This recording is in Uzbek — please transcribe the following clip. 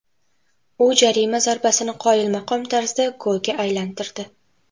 U jarima zarbasini qoyilmaqom tarzda golga aylantirdi.